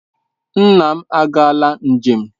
Nna m agaala njem.